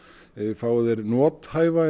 fái þeir nothæfa